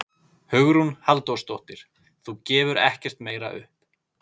Hugrún Halldórsdóttir: Þú gefur ekkert meira upp?